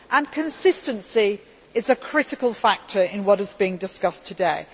and consistency is a critical factor in what is being discussed today.